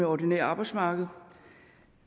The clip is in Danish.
ordinære arbejdsmarked